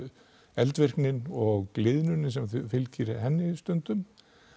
eldvirknin og gliðnunin sem fylgir henni stundum